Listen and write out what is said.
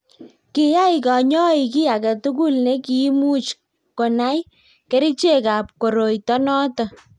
kiyai kanyoik kiy age tugul ne kiimuch kunai kerichekab koroito noto